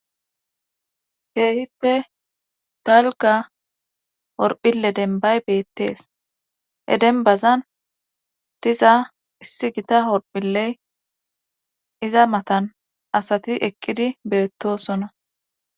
keehippe dalga orphille denbay beettees hedenbazan diza issi gita holphilley iza matan asati eqqidi beettosona